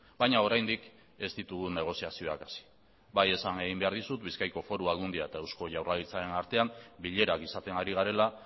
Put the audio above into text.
baina oraindik ez ditugu negoziazioak hasi bai esan egin behar dizut bizkaiko foru aldundia eta eusko jaurlaritzaren artean bilerak izaten ari garela